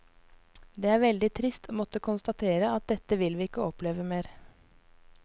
Det er veldig trist å måtte konstatere at dette vil vi ikke oppleve mer.